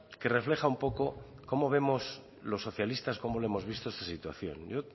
que refleja un poco cómo vemos los socialistas cómo hemos visto esta situación yo